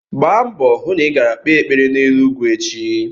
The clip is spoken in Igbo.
Gba mbọ hụ na i gara kpee ekpere n'elu ugwu echi!